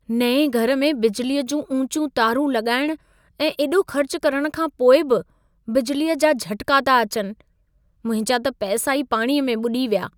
नएं घर में बिजलीअ जूं ऊचियूं तारूं लॻाइणु ऐं एॾो ख़र्चु करण खां पोइ बि बिजलीअ जा झटिका था अचनि। मुंहिंजा त पैसा ई पाणीअ में ॿुॾी विया।